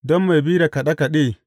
Don mai bi da kaɗe kaɗe.